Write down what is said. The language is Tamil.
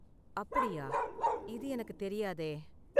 அப்படியா? இது எனக்கு தெரியாதே.